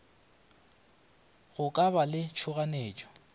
go ka ba le tšhoganyetšo